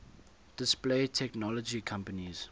display technology companies